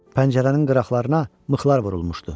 Pəncərənin qıraqlarına mıxlar vurulmuşdu.